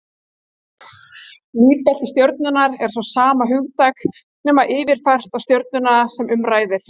Lífbelti stjörnu er svo sama hugtak, nema yfirfært á stjörnuna sem um ræðir.